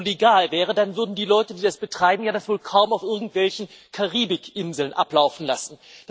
Wenn das alles so legal wäre, dann würden die Leute, die das betreiben, das wohl kaum auf irgendwelchen Karibikinseln ablaufen lassen.